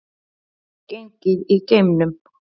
Gengið í geimnum